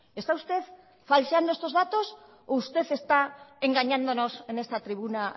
está usted falseando estos datos o usted está engañándonos en esta tribuna